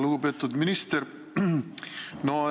Lugupeetud minister!